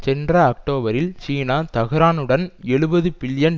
சென்ற அக்டோபரில் சீனா தெஹ்ரானுடன் எழுபது பில்லியன்